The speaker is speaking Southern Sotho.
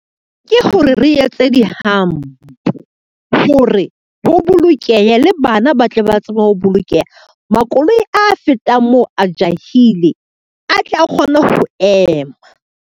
Ke hore re etse dihampo hore, ho bolokehe le bana ba tle ba tsebe ho bolokeha. Makoloi a fetang moo a jahile a tle a kgone ho ema.